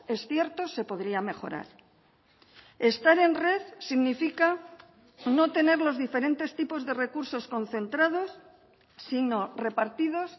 es cierto se podría mejorar estar en red significa no tener los diferentes tipos de recursos concentrados sino repartidos